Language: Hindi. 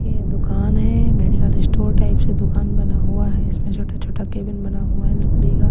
ये दुकान है मेडिकल स्टोर टाइप से दुकान बना हुआ है इसमें छोटा छोटा केबिन बना हुआ है लकड़ी का--